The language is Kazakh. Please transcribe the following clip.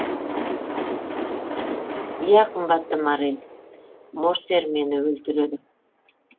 иә қымбатты моррель морсер мені өлтіреді